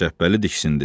Şəbbəli diksindi.